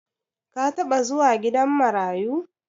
ka taba zuwa gidan marayu